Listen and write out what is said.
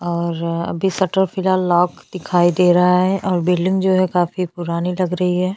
और अभी शटर फिलहाल लॉक दिखाई दे रहा है और बिल्डिंग जो है काफी पुरानी लग रही है।